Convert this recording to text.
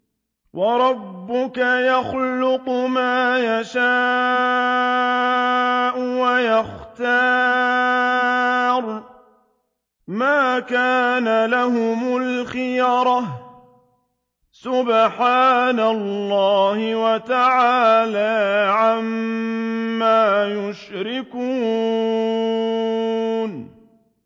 وَرَبُّكَ يَخْلُقُ مَا يَشَاءُ وَيَخْتَارُ ۗ مَا كَانَ لَهُمُ الْخِيَرَةُ ۚ سُبْحَانَ اللَّهِ وَتَعَالَىٰ عَمَّا يُشْرِكُونَ